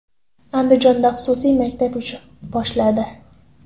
Andijonda xususiy maktab ish boshladi.